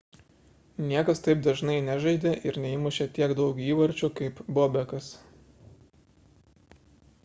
niekas taip dažnai nežaidė ir neįmūšė tiek daug įvarčių kaip bobekas